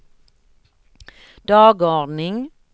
dagordning